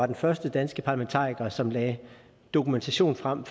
den første danske parlamentariker som lagde dokumentation frem